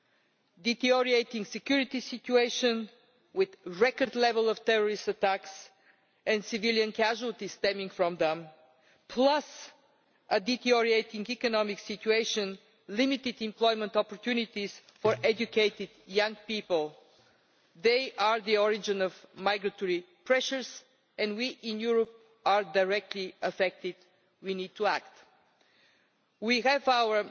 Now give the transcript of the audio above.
EU. The deteriorating security situation, with a record level of terrorist attacks and the civilian casualties stemming from them, plus a deteriorating economic situation and limited employment opportunities for educated young people these are the origin of migratory pressures, and we in Europe are directly affected. We need to act. We have